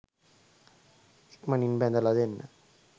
ඉක්මනින් බැඳලා දෙන්න.